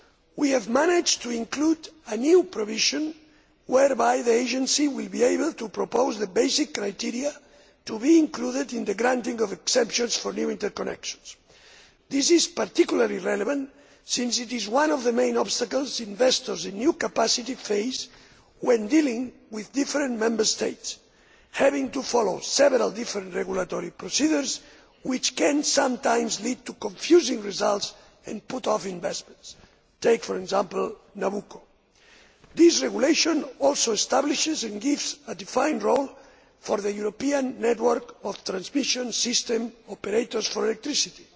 We have managed to include a new provision whereby the Agency will be able to propose the basic criteria to be included in the granting of exemptions for new interconnections. This is particularly relevant since it is one of the main obstacles investors in new capacity face when dealing with different Member States. Having to follow several different regulatory procedures can sometimes lead to confusing results and put off investors take, for example, Nabucco. This regulation also establishes, and gives a defined role to, the European Network of Transmission System Operators for Electricity